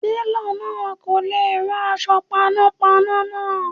Télọ̀ náà kò lè rán aṣọ panápaná náà.